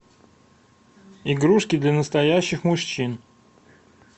игрушки для настоящих мужчин